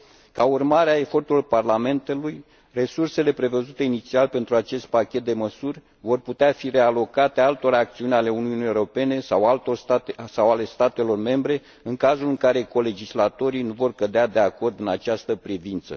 Ca urmare a eforturilor Parlamentului, resursele prevăzute inițial pentru acest pachet de măsuri vor putea fi realocate altor acțiuni ale Uniunii Europene sau ale statelor membre, în cazul în care colegislatorii nu vor cădea de acord în această privință.